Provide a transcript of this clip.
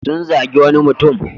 Sun zagi wani mutum.